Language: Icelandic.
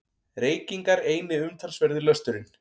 Reykingar eini umtalsverði lösturinn.